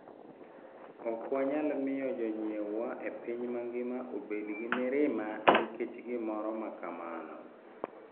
Ok wanyal miyo jonyiewwa e piny mangima obed gi mirima nikech gimoro ma kamano.